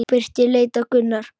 Birkir leit á Gunnar.